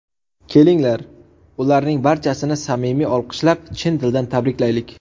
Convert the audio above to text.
Kelinglar, ularning barchasini samimiy olqishlab, chin dildan tabriklaylik!